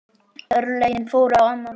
Örlögin fóru á annan veg.